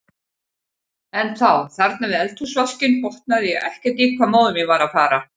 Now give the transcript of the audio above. En þá, þarna við eldhúsvaskinn, botnaði ég ekkert í hvað móðir mín var að fara.